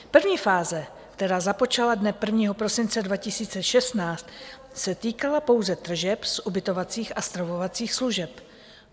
První fáze, která započala dne 1. prosince 2016, se týkala pouze tržeb z ubytovacích a stravovacích služeb.